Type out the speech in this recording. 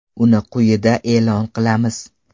Uni quyida e’lon qilamiz.